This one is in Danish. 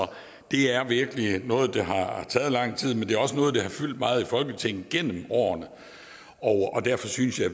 det er virkelig noget der har taget lang tid men det er også noget der har fyldt meget i folketinget gennem årene og derfor synes jeg